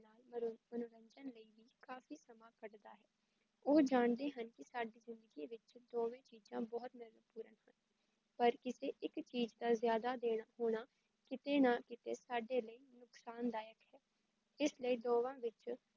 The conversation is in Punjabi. ਉਹ ਜਾਣਦੇ ਹਨ ਕੀ ਸਾਡੇ ਜ਼ਿੰਦਗੀ ਵਿੱਚ ਦੋਵੇ ਚੀਜਾਂ ਬਹੁਤ ਮੇਹਤ੍ਵਪੂਰਣ ਹਨ, ਪਰ ਕਿੱਸੇ ਇੱਕ ਚੀਜ਼ ਵੱਲ ਜਾਦਾ ਦੇਰ ਹੋਨਾ ਕਿਸੇ ਨਾ ਕਿਸ ਨੁਕਸਾਨ ਦਾਯਕ ਇਸ ਲਈ ਦੋਵਾਂ ਵਿੱਚ